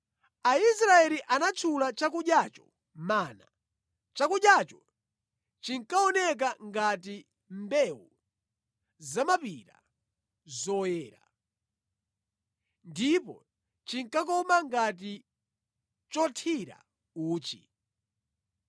Aisraeli anatchula chakudyacho Mana. Chakudyacho chinkaoneka ngati mbewu zamapira, zoyera. Ndipo chinkakoma ngati chothira uchi.